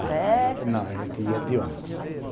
Até... Não, a gente ia de ônibus. De ônibus.